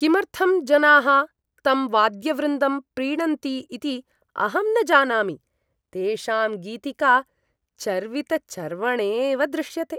किमर्थं जनाः तं वाद्यवृन्दं प्रीणन्ति इति अहं न जानामि। तेषां गीतिका चर्वितचर्वणेव दृश्यते।